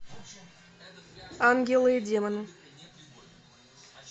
ангелы и демоны